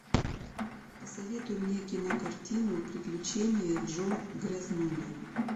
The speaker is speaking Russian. посоветуй мне кинокартину приключения джо грязнули